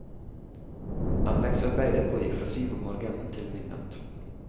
Anleggsarbeidet pågikk fra syv om morgenen til midnatt.